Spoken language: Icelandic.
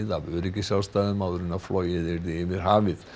af öryggisástæðum áður en flogið yrði yfir hafið